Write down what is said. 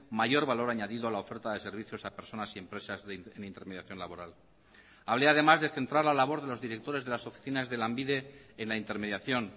mayor valor añadido a la oferta de servicios a personas y empresas en intermediación laboral hablé además de centrar la labor de los directores de las oficinas de lanbide en la intermediación